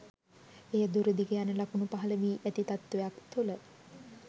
එය දුරදිග යන ලකුණු පහළ වී ඇති තත්වයක් තුළ